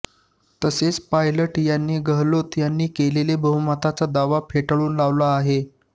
तसेच पायलट यांनी गेहलोत यांनी केलेला बहुमताचा दावा फेटाळून लावला आहे